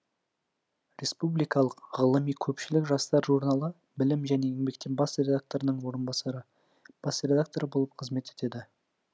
республикалық ғылыми көпшілік жастар журналы білім және еңбекте бас редакторының орынбасары бас редакторы болып қызмет етеді